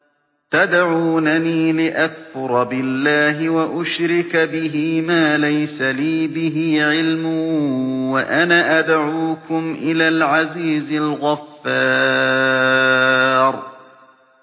تَدْعُونَنِي لِأَكْفُرَ بِاللَّهِ وَأُشْرِكَ بِهِ مَا لَيْسَ لِي بِهِ عِلْمٌ وَأَنَا أَدْعُوكُمْ إِلَى الْعَزِيزِ الْغَفَّارِ